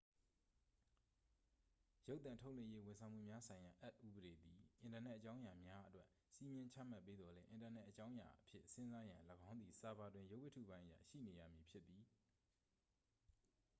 ရုပ်သံထုတ်လွှင့်ရေးဝန်ဆောင်မှုများဆိုင်ရာအက်ဥပဒေသည် အင်တာနက်အကြောင်းအရာများအတွက် စည်းမျဉ်းချမှတ်ပေးသော်လည်း အင်တာနက်အကြောင်းအရာအဖြစ်စဉ်းစားရန် ၎င်းသည် ဆာဗာတွင် ရုပ်ဝတ္ထုပိုင်းအရ ရှိနေရမည် ဖြစ်သည်